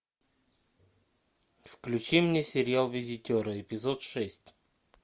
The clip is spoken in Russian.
включи мне сериал визитеры эпизод шесть